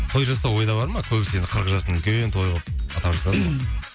той жасау ойда бар ма көбісі енді қырық жасын үлкен той қылып атап жатады ғой